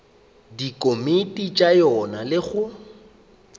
dikomiti tša yona le go